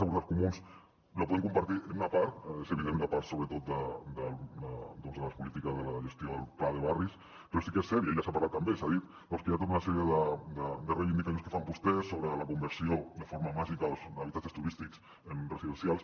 la podem compartir en una part és evident la part sobretot de les polítiques de la gestió del pla de barris però sí que és cert i ja s’ha parlat també i s’ha dit que hi ha tota una sèrie de reivindicacions que fan vostès sobre la conversió de forma màgica d’habitatges turístics en residencials